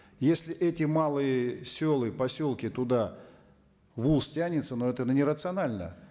если эти малые селы поселки туда волс тянется ну это ну не рационально